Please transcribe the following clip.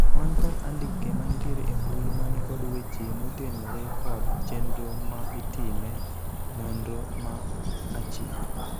wan kod andike manitiere e mbui manikod weche motenore kod chenro ma itime nonro ma aching'